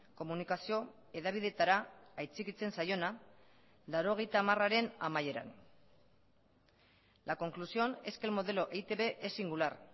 komunikazio hedabideetara aitzikitzen zaiona laurogeita hamararen amaieran la conclusión es que el modelo e i te be es singular